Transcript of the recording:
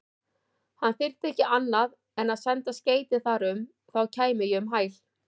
Hann þyrfti ekki annað en senda skeyti þar um, þá kæmi ég um hæl.